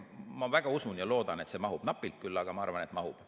Ma väga usun ja loodan, et see mahub – napilt küll, aga ma arvan, et mahub.